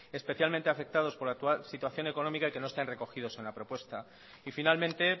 especialmente afectados por la actual situación económica y que no estén recogidos en la propuesta y finalmente